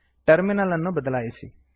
terminal ಅನ್ನು ಬದಲಾಯಿಸಿ